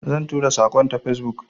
Zan tura saƙon ta Facebook.